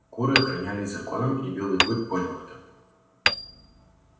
куры охранялись законом и белый клык понял это